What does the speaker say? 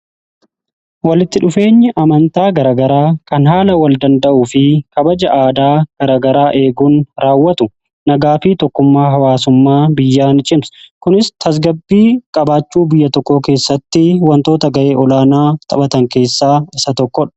Walitti dhufeenyi amantaa garagaraa kan haala wal danda'u fi kabaja aadaa garagaraa eeguun raawwatu nagaa fi tokkummaa hawaasummaa biyyaan cimsa kunis tasgabbii qabaachuu biyya tokko keessatti wantoota ga'ee olaanaa taphatan keessaa isa tokkodha.